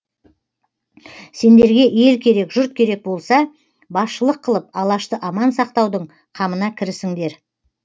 сендерге ел керек жұрт керек болса басшылық қылып алашты аман сақтаудың қамына кірісіңдер